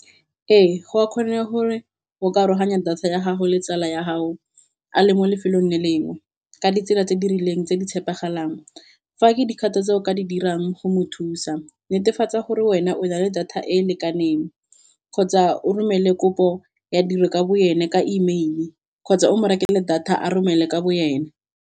Ee go a kgone gore go ka aroganya data ya gago le tsala ya gago a le mo lefelong le le engwe ka ditsela tse di rileng tse di tshepegalang, fa ke dikgato tse o ka di dirang go mo thusa netefatsa gore wena o na le data e e lekaneng, kgotsa o romele kopo ya tiro ka bo ene ka email kgotsa o mo rekele data a romele ka bo nyene.